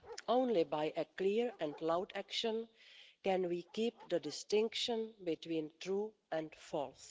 Only through clear and loud action can we keep the distinction between true and false.